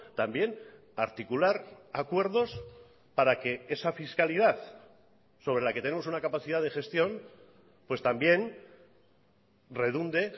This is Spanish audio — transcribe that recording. también articular acuerdos para que esa fiscalidad sobre la que tenemos una capacidad de gestión pues también redunde